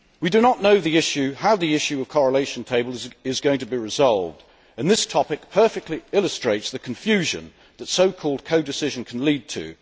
We do not know how the issue of correlation tables is going to be resolved, and this topic perfectly illustrates the confusion that so called codecision can lead to.